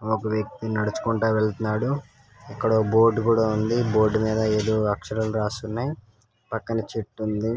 అక్కడ ఒక వ్యక్తి నడుచుకుంటా వెళ్తున్నాడు ఇక్కడ ఒక బోర్డు కూడా ఉంది బోర్డు మీద ఏదో అక్షరాలు రాసి ఉన్నాయి పక్కన చెట్టు ఉంది